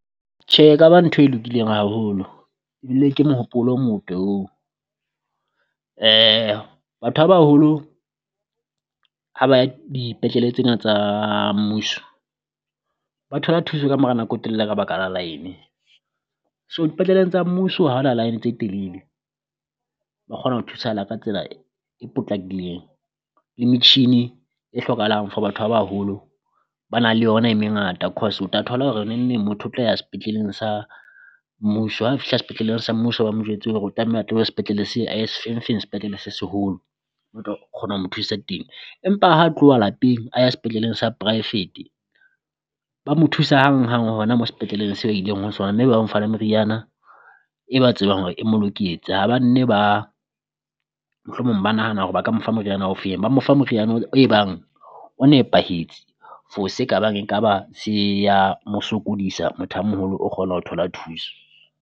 Tjhe e ka ba ntho e lokileng haholo ebile ke mohopolo o mote oo, batho ba baholo ha ba ya dipetlele tsena tsa mmuso ba thola thuso kamora nako e telele ka baka la line so dipetleleng tsa mmuso ha ho na line tse telele. Ba kgona ho thusahala ka tsela e potlakileng le metjhini e hlokahalang for batho ba baholo ba na le yona e mengata, cause o tla thola hore neng neng motho o tla ya sepetleleng sa mmuso ha fihla sepetleleng sa mmuso ba mo jwetse hore o tlameha a tlohe sepetlele a ye sefengfeng sepetlele se seholo, o tlo kgona ho mo thusa teng. Empa ha tloha lapeng a ya sepetleleng sa poraefete, ba mo thusa hanghang hona moo sepetleleng se ileng ho sona, mme ba ba mo fa le meriana e ba tsebang hore e mo loketse. Ha banne ba mohlomong ba nahana hore ba ka mo fa moriana ofeng, ba mo fa moriana o e bang o nepahetse for se ka bang e ka ba se ya mo sokodisa motho a moholo o kgona ho thola thuso.